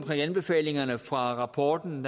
anbefalingerne fra rapporten